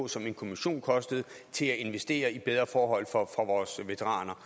som en kommission koster til at investere i bedre forhold for vores veteraner